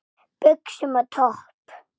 Buxum og topp?